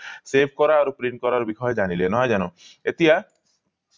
save কৰা আৰু print কৰাৰ বিষয়ে জানিলে নহয় জানো এতিয়া কৰাৰ বিষয়ে জানিলে নহয় জানো এতিয়া